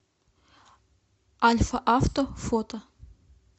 альфа авто фото